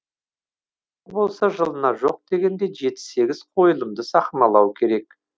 жылына жоқ дегенде жеті сегіз қойылымды сахналау керек